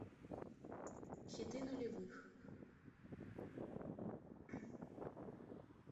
хиты нулевых